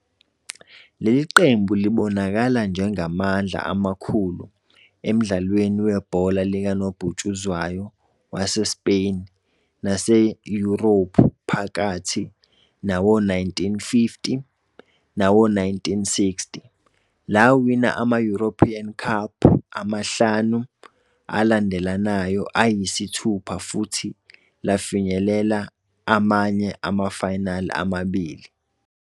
Leli qembu libonakala njengamandla amakhulu emdlalweni webhola likanobhutshuzwayo waseSpain naseYurophu phakathi nawo-1950 nawo-1960, lawina ama-European Cup amahlanu alandelanayo ayisithupha futhi lafinyelela amanye ama-final amabili.